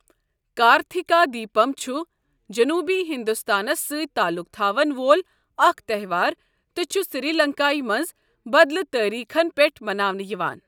کارتِھکا دیٖپَم چھُ جنوٗبی ہِنٛدُستانس سٕتۍ تعلُق تھاون وول اَکھ تَہوار تہٕ چُھ سِری لنٛکایہ منٛز بدلہٕ تٲریٖخن پٮ۪ٹھ مَناونہٕ یِوان۔